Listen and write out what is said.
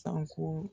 Sanko